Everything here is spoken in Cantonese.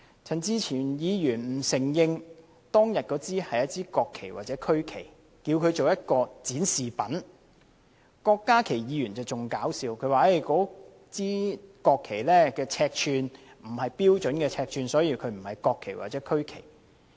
陳志全議員不承認當天擺放在議員桌上的是國旗或區旗，只稱為展示品；郭家麒議員的言論則更可笑，他說那些國旗的尺寸並非標準尺寸，所以不是國旗或區旗。